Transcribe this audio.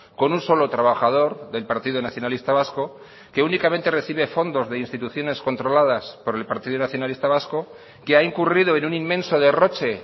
con un solo trabajador del partido nacionalista vasco que únicamente recibe fondos de instituciones controladas por el partido nacionalista vasco que ha incurrido en un inmenso derroche